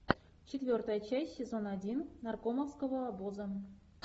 четвертая часть сезона один наркомовского обоза